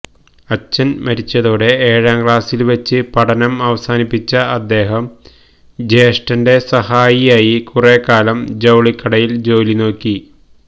അച്ഛന് മരിച്ചതോടെ ഏഴാം ക്ലാസ്സില് വച്ച് പഠനം അവസാനിപ്പിച്ച അദ്ദേഹം ജ്യേഷ്ഠന്റെ സഹായിയായി കുറെക്കാലം ജൌളിക്കടയില് ജോലി നോക്കി